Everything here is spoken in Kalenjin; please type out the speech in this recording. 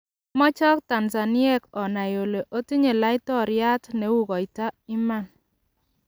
"Amachok Tanzaniek onai ole otinye laitoriat ne u koita iman.